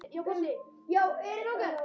Síðar orti ég annað erindi.